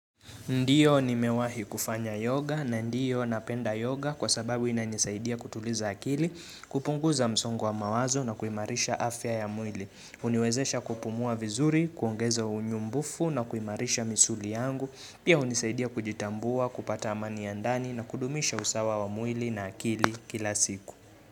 Ndio nimewahi kufanya yoga na ndiyo napenda yoga kwa sababu ina nisaidia kutuliza akili, kupunguza msongo wa mawazo na kuimarisha afya ya mwili. Uniwezesha kupumua vizuri, kuongeza unyumbufu na kuimarisha misuli yangu. Pia hunisaidia kujitambua, kupata amani ya ndani na kudumisha usawa wa mwili na akili kila siku.